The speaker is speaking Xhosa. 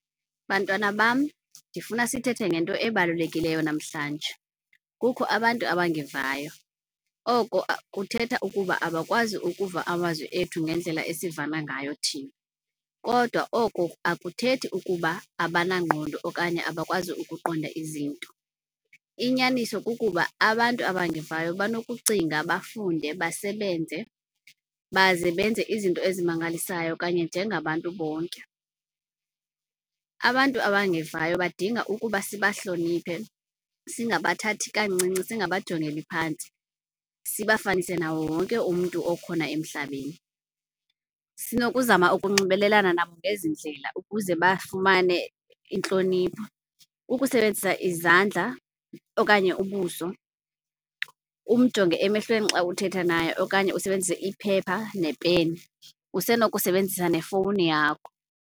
Bantwana bam, ndifuna sithethe ngento ebalulekileyo namhlanje. Kukho abantu abangevayo oko kuthetha ukuba abakwazi ukuva amazwi ethu ngendlela esivana ngayo thina. Kodwa oko awuthethi ukuba abanangqondo okanye abakwazi ukuqonda izinto. Inyaniso kukuba abantu abangevayo banokucinga, bafunde, basebenze baze benze izinto ezimangalisayo kanye njengabantu bonke. Abantu abangevayo badinga ukuba sibahloniphe singabathathi kancinci, singabajongelani phantsi, sibafanise nawo wonke umntu okhona emhlabeni. Sinokuzama ukunxibelelana nabo ngezi ndlela ukuze bafumane intlonipho, ukusebenzisa izandla okanye ubuso, umjonge emehlweni xa uthetha naye okanye usebenzise iphepha nepeni. Usenokusebenzisa nefowuni yakho.